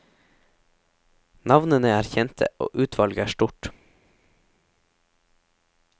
Navnene er kjente, og utvalget er stort.